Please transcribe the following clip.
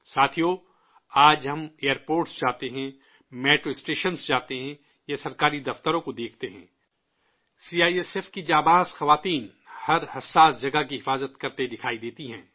ساتھیو، آج ہم ایئرپورٹس جاتے ہیں، میٹرو اسٹیشنز جاتے ہیں یا سرکاری دفتروں کو دیکھتے ہیں، سی آئی ایس ایف کی جانباز خواتین ہر حساس جگہ کی حفاظت کرتے دکھائی دیتی ہیں